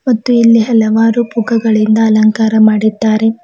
ಮತ್ತು ಇಲ್ಲಿ ಹಲವಾರು ಪುಗ್ಗಗಳಿಂದ ಅಲಂಕಾರ ಮಾಡಿದ್ದಾರೆ.